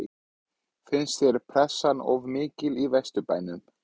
Finnst þér pressan of mikil í Vesturbænum?